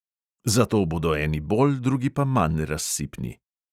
Zato bodo eni bolj, drugi pa manj razsipni.